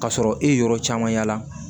K'a sɔrɔ e ye yɔrɔ caman yala